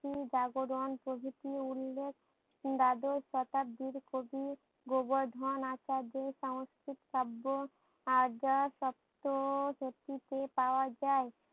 উম জাগরণ প্রভৃতি উল্লেখ দ্বাদশ শতাব্দীর কবি গোবর্ধন আচার্যের সংস্কৃত শব্দ আজ সপ্ত সতিতে পাওয়া যায়।